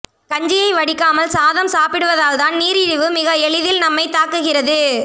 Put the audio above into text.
கஞ்சியை வடிக்காமல் சாதம் சாப்பிடுவதால் தான் நீரிழிவு மிக எளிதில் நம்மை தாக்குகிறது